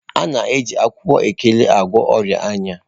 A na-eji akwụkwọ Ekere gwọọ ọrịa anya.